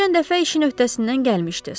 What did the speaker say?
Keçən dəfə işin öhdəsindən gəlmişdiz.